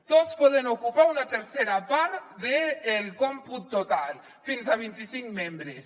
tots poden ocupar una tercera part del còmput total fins a vint i cinc membres